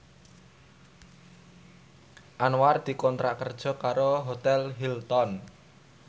Anwar dikontrak kerja karo Hotel Hilton